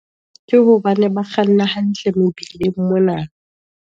Ke hobane ba kganna hantle mobileng mona.